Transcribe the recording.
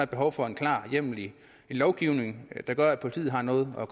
behov for en klar hjemmel i lovgivningen der gør at politiet har noget at